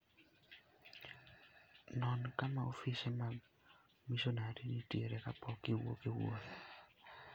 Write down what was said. Non kama ofise mag misonari nitie kapok iwuok e wuoth.